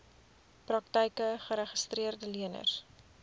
praktyke geregistreede leners